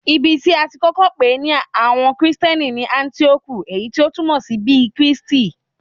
Ibi tí a ti kọ́kọ́ pè ní àwọn Kristẹni ni Áńtíókù, èyí tí o túmọ̀ sí bí Kristi.